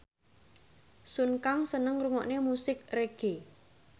Sun Kang seneng ngrungokne musik reggae